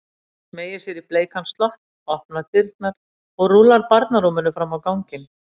Smeygir sér í bleikan slopp, opnar dyrnar og rúllar barnarúminu fram á ganginn.